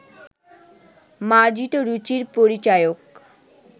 মার্জিত রুচির পরিচায়ক